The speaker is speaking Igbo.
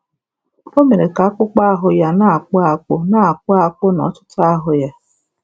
O mere ka akpụkpọ ahụ ya na-akpụ akpụ na akpụ akpụ nọtụtụ ahụ́ ya